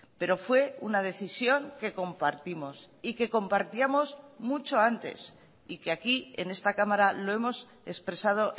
pero fue una decisión que compartimos y que compartíamos mucho antes y que aquí en esta cámara lo hemos expresado